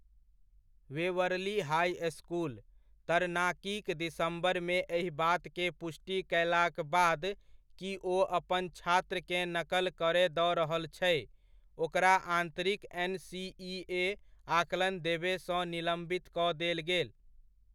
Waverly high school, तरनाकीक दिसम्बर मे एहि बात के पुष्टि कयलाक बाद कि ओ अपन छात्रकेँ नकल करय दऽ रहल छै, ओकरा आन्तरिक एनसीइए आकलन देबय सँ निलम्बित कऽ देल गेल।